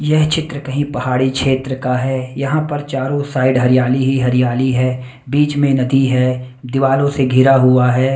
यह चित्र कहीं पहाड़ी क्षेत्र का है यहां पर चारों साइड हरियाली ही हरियाली है बीच में नदी है दीवारों से घिरा हुआ है।